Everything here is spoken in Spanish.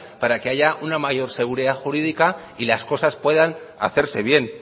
para que haya una mayor seguridad jurídica y las cosas puedan hacerse bien